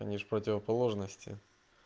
они же противоположности